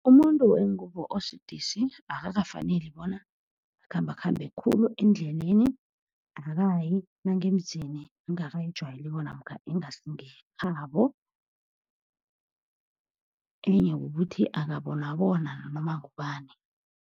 Umuntu wengubo osidisi akukafaneli bona akhambakhambe khulu endleleni. Akayi nangemzini angakayijwayeliko namkha ingasi ngekhabo. Enye kukuthi angabonwabonwa nanoma ngubani.